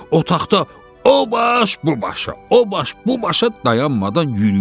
Otaqda o baş bu başa, o baş bu başa dayanmadan yürüyür.